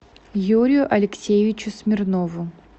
юрию алексеевичу смирнову